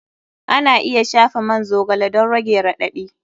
Ana iya shafa man zogale don rage raɗaɗi.